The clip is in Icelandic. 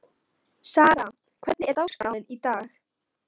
Sara, hvernig er dagskráin í dag?